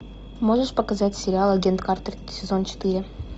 можешь показать сериал агент картер сезон четыре